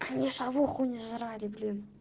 они шавуху не жрали блин